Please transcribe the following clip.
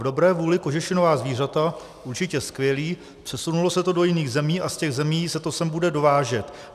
V dobré vůli kožešinová zvířata, určitě skvělý, přesunulo se to do jiných zemí a z těch zemí se to sem bude dovážet.